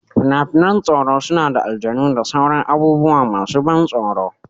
Fina-finan tsoro suna da aljanu da sauran abubuwa masu ban tsoro.